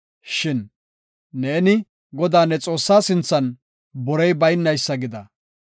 Shin neeni Godaa ne Xoossaa sinthan borey baynaysa gida.